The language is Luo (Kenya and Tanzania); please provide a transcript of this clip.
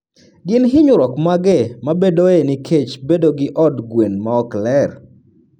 Gin hinyruok mage mabedoe nikech bedo gi od gwen maok ler?